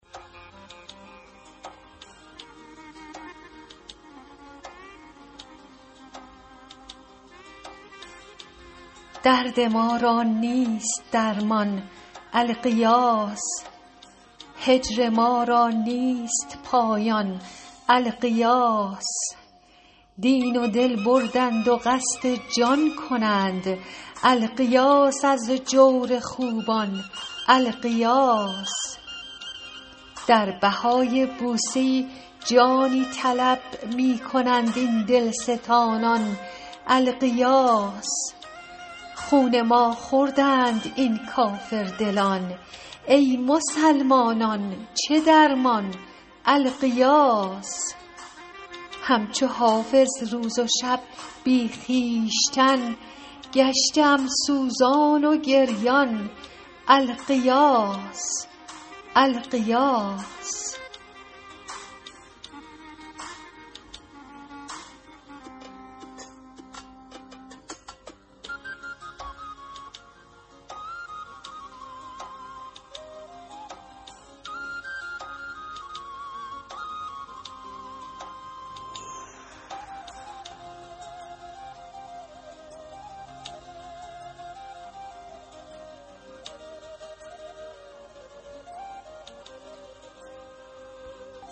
درد ما را نیست درمان الغیاث هجر ما را نیست پایان الغیاث دین و دل بردند و قصد جان کنند الغیاث از جور خوبان الغیاث در بهای بوسه ای جانی طلب می کنند این دلستانان الغیاث خون ما خوردند این کافردلان ای مسلمانان چه درمان الغیاث هم چو حافظ روز و شب بی خویشتن گشته ام سوزان و گریان الغیاث